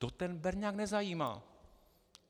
To ten berňák nezajímá.